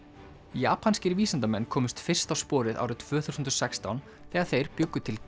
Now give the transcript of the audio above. japanskir vísindamenn komust fyrst á sporið árið tvö þúsund og sextán þegar þeir bjuggu til